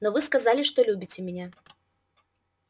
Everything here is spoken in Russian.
но вы сказали что любите меня